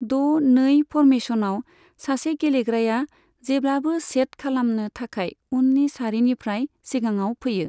द नै फर्मेशनआव, सासे गेलेग्राया जेब्लाबो सेट खालामनो थाखाय उननि सारिनिफ्राय सिगाङाव फैयो।